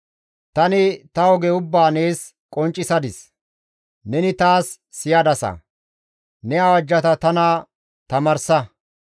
Tani ta oge ubbaa nees qonccisadis; neni taas siyadasa; ne awajjata tana tamaarsa.